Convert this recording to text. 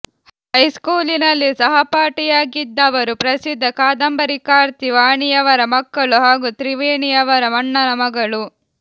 ಹೈಸ್ಕೂಲಿನಲ್ಲಿ ಸಹಪಾಠಿಯಾಗಿದ್ದವರು ಪ್ರಸಿದ್ಧ ಕಾದಂಬರಿಕಾರ್ತಿ ವಾಣಿಯವರ ಮಕ್ಕಳು ಹಾಗೂ ತ್ರಿವೇಣಿಯವರ ಅಣ್ಣನ ಮಗಳು